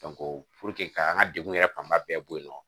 k'an ka degun yɛrɛ fanba bɛɛ bɔ yen nɔ